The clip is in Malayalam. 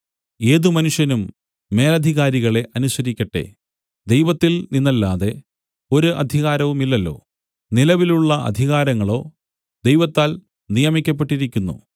ഏത് മനുഷ്യനും മേലാധികാരികളെ അനുസരിക്കട്ടെ ദൈവത്തിൽ നിന്നല്ലാതെ ഒരധികാരവുമില്ലല്ലോ നിലവിലുള്ള അധികാരങ്ങളോ ദൈവത്താൽ നിയമിക്കപ്പെട്ടിരിക്കുന്നു